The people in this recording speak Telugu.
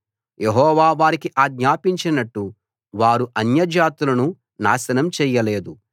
యెహోవా వారికి ఆజ్ఞాపించినట్టు వారు అన్యజాతులను నాశనం చేయలేదు